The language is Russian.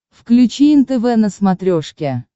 включи нтв на смотрешке